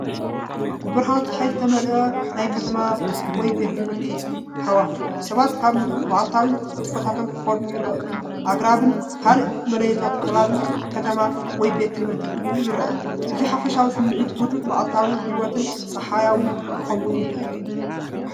ብብርሃን ጸሓይ ዝተመልአ ናይ ከተማ ወይ ቤት ትምህርቲ ሃዋህው። ሰባት ኣብ መዓልታዊ ንጥፈታቶም ክኸዱ ይረኣዩ። ኣግራብን ካልእ መለለዪታት ከባቢ ከተማ ወይ ቤት ትምህርቲ እውን ይረአ። እቲ ሓፈሻዊ ስሚዒት ህዱእን መዓልታዊ ህይወትን ጸሓያዊን ክኸውን ይኽእል እዩ።